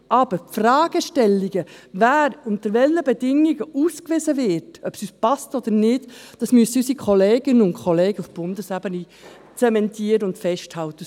Aber die Fragestellungen, wer unter welchen Bedingungen ausgewiesen wird, müssen, ob es uns passt oder nicht, unsere Kolleginnen und Kollegen auf Bundesebene zementieren und festhalten.